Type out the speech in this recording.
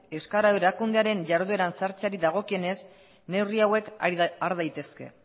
euskara erakundearen jarduera sartzeari dagokienez neurri hauek har daitezke